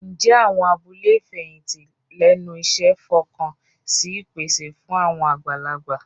Ǹjẹ́ àwọn abúlé ìfẹ̀yìntì lẹ́nu iṣẹ́ fọkàn sí ìpèsè fún àwọn àgbàlagbà?